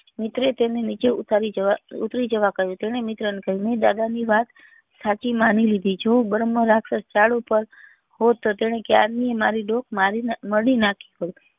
મિત્રે તેને નીચે ઉતારી જવા કહ્યું તેને મિત્ર ને કહ્યું મેં દાદા ની વાત સાચી માની લીધી જો બ્રહ્મ રાક્ષસ ઝાડ પર હોત તો તેને ક્યારનીય મારી દુખ મારી મળી નાખી હોત